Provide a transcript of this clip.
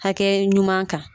Hakɛ ɲuman kan